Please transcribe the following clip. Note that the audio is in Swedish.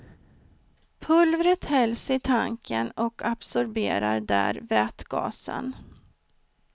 Pulvret hälls i tanken och absorberar där vätgasen.